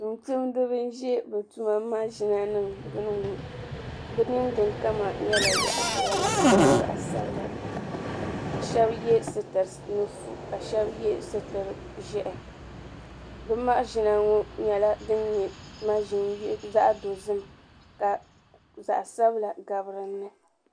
Tuuntumdiba n-ʒe bɛ tuma maʒinanima gbuni ŋɔ bɛ ningbunkama nyɛla zaɣ'piɛla shɛba ye zaɣ'sabila bɛ shɛba ye sitiri nufu ka shɛba ye sitiri ʒɛhi bɛ maʒina ŋɔ nyɛla din nyɛ maʒini din nyɛ zaɣ'dozim ka zaɣ'sabila gabi dini ni.